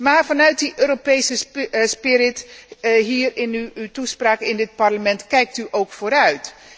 Maar vanuit die Europese spirit hier in uw toespraak in dit Parlement kijkt u ook vooruit.